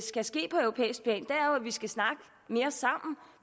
skal ske på europæisk plan er jo at vi skal snakke mere sammen